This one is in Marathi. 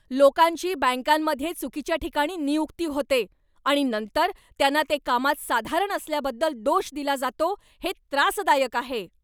लोकांची बँकांमध्ये चुकीच्या ठिकाणी नियुक्ती होते आणि नंतर त्यांना ते कामात साधारण असल्याबद्दल दोष दिला जातो हे त्रासदायक आहे.